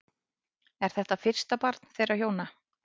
Er þetta fyrsta barn þeirra hjóna